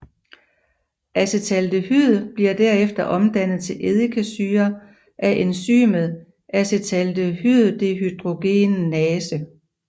Acetaldehyd bliver derefter omdannet til eddikesyre af enzymet acetaldehyddehydrogenase